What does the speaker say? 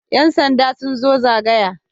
Yan sanda sun zo zagaya.